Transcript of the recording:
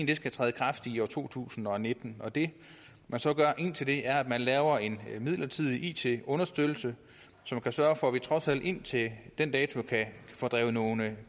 det skal træde i kraft i to tusind og nitten det man så gør indtil da er at man laver en midlertidig it understøttelse som sørger for at vi trods alt indtil den dato kan få drevet nogle